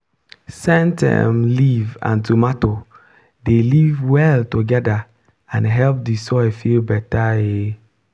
scent um leaf and tomato dey live well together and help the soil feel better. um